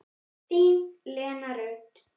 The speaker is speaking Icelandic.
Þín, Lena Rut.